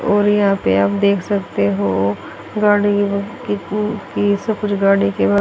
और यहां पे आप देख सकते हो गाड़ी की स्कूटी से सफेद गाड़ी के बाद--